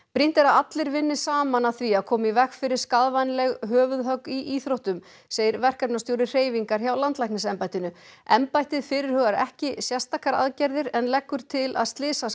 brýnt er að allir vinni saman að því að koma í veg fyrir skaðvænleg höfuðhögg í íþróttum segir verkefnastjóri hreyfingar hjá landlæknisembættinu embættið fyrirhugar ekki sérstakar aðgerðir en leggur til að